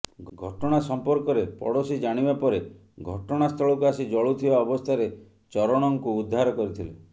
ଘଟଣା ସଂପର୍କରେ ପଡୋଶୀ ଜାଣିବା ପରେ ଘଟଣାସ୍ଥଳକୁ ଆସି ଜଳୁଥିବା ଅବସ୍ଥାରେ ଚରଣଙ୍କୁ ଉଦ୍ଧାର କରିଥିଲେ